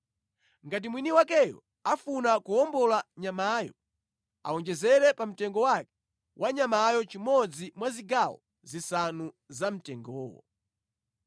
Ngati mwini wakeyo akufuna kuwombola nyamayo, awonjezere pa mtengo wake wa nyamayo chimodzi mwa zigawo zisanu zamtengowo.